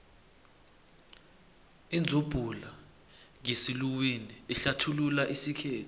idzubhula ngesiluwini ihlathulula isikhethu